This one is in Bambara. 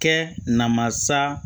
Kɛ namasa